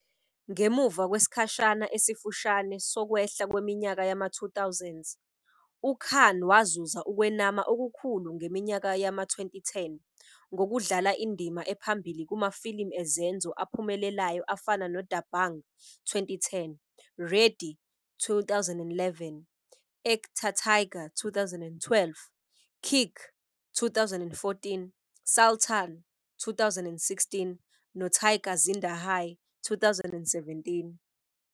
Ngemuva kwesikhashana esifushane sokwehla kweminyaka yama-2000s, uKhan wazuza ukwenama okukhulu ngeminyaka yama-2010 ngokudlala indima ephambili kumafilimu ezenzo aphumelelayo afana noDabangg, 2010, Ready, 2011, Ek Tha Tiger, 2012, Kick, 2014, Sultan, 2016, noTiger Zinda Hai, 2017.